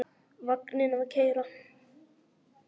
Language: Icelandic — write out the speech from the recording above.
Vagninn að keyra.